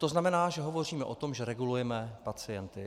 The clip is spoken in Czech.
To znamená, že hovoříme o tom, že regulujeme pacienty.